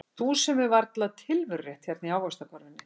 Þú sem hefur varla tilverurétt hérna í ávaxtakörfunni.